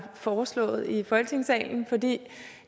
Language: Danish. foreslået i folketingssalen for det